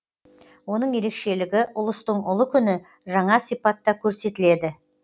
оның ерекшелігі ұлыстың ұлы күні жаңа сипатта көрсетіледі